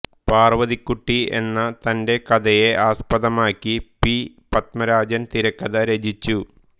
പാർവതിക്കുട്ടി എന്ന തന്റെ കഥയെ ആസ്പദമാക്കി പി പത്മരാജൻ തിരക്കഥ രചിച്ചു